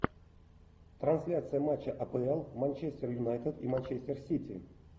трансляция матча апл манчестер юнайтед и манчестер сити